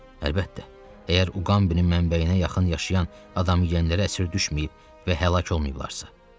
Əlbəttə, əgər Uqambinin mənbəyinə yaxın yaşayan adamiyənlərə əsir düşməyib və həlak olmayıblarsa.